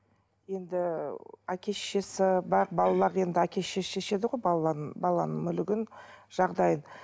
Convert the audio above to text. енді әке шешесі бар балалар енді әке шеше шешеді ғой баланың мүлігін жағдайын